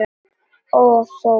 Og þó.